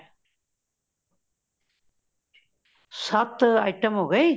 ਸੱਤ item ਹੋ ਗਈ